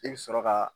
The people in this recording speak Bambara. I bɛ sɔrɔ ka